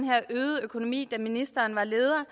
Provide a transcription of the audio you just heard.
her øgede økonomi da ministeren var leder